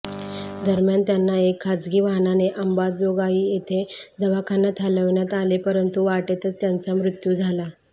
दरम्यान त्यांना एक खासगी वाहनाने अंबाजोगाई येथे दवाखान्यात हलविण्यात आले परंतु वाटेतच त्यांचा मृत्यू झाला